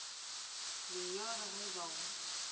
lenyora ge e ba o